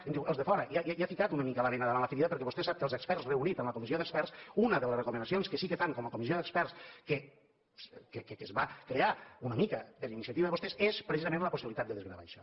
em diu els de fora ja ha ficat una mica la bena davant la ferida perquè vostè sap que els experts reunits en la comissió d’experts una de les recomanacions que sí que fan com a comissió d’experts que es va crear una mica per iniciativa de vostès és precisament la possibilitat de desgravar això